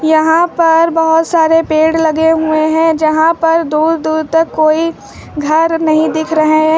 यहां पर बहोत सारे पेड़ लगे हुए हैं जहां पर दूर दूर तक कोई घर नहीं दिख रहे हैं।